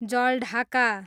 Jaldhaka